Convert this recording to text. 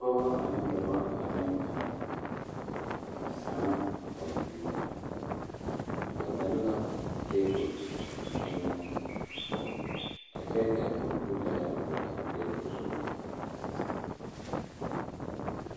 Pɔgɔ ane dɔbɔ laŋɛɛ taa a zanna kompeeta ba zeŋ la tebol eŋɛ a kyɛ ka a kompeetare dɔgle a tebol zu.